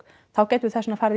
þá gætum við þess vegna farið